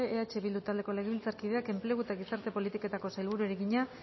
eh bildu taldeko legebiltzarkideak enplegu eta gizarte politiketako sailburuari egina